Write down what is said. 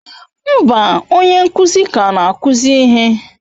Mba, onye nkuzi ka na-akụzi ihe.